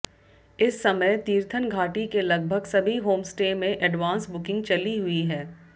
इस समय तीर्थन घाटी के लगभग सभी होमस्टे में एडवांस बुकिंग चली हुई है